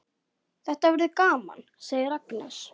Þetta verður gaman, segir Agnes.